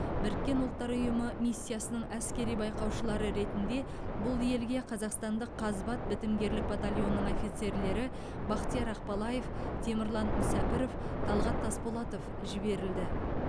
біріккен ұлттар ұйымы миссиясының әскери байқаушылары ретінде бұл елге қазақстандық қазбат бітімгерлік батальонының офицерлері бахтияр ақбалаев темірлан мүсәпіров талғат тасболатов жіберілді